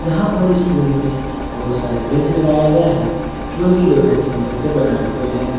यहां पर स्कूल में बहुत सारे बेंच लगाए गए हैं जो की लोहे की मदद से बनाए हुए हैं।